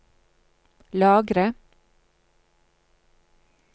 lagre